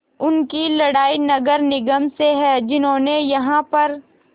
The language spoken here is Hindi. उनकी लड़ाई नगर निगम से है जिन्होंने यहाँ पर